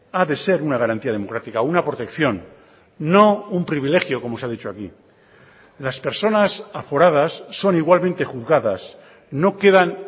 ha de ser una garantía democrática una protección no un privilegio como se ha dicho aquí las personas aforadas son igualmente juzgadas no quedan